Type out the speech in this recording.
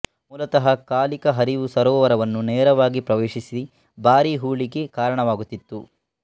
ಮೂಲತಃ ಕಾಲಿಕ ಹರಿವು ಸರೋವರವನ್ನು ನೇರವಾಗಿ ಪ್ರವೇಶಿಸಿ ಭಾರೀ ಹೂಳಿಗೆ ಕಾರಣವಾಗುತ್ತಿತ್ತು